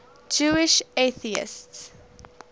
jewish atheists